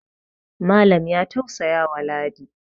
Malam ya taussaya wa ladi